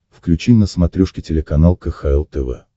включи на смотрешке телеканал кхл тв